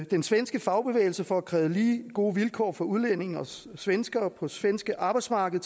den svenske fagbevægelse for at kræve lige gode vilkår for tilrejsende udlændinge og svenskere på det svenske arbejdsmarked